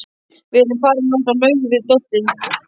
Við erum farin út í laug við Doddi.